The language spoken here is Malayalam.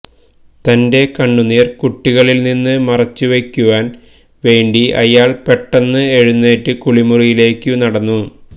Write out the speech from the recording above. തന്റെ കണ്ണുനീർ കുട്ടികളിൽ നിന്നു മറച്ചു വെയ്ക്കുവാൻ വേണ്ടി അയാൾ പെട്ടെന്ന് എഴുന്നേറ്റു കുളിമുറിയിലേക്കു നടന്നു